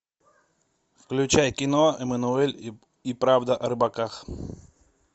включай кино эммануэль и правда о рыбаках